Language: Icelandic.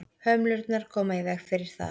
hömlurnar koma í veg fyrir það